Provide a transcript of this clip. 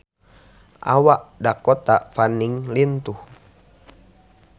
Awak Dakota Fanning lintuh